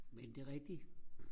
men det er rigtigt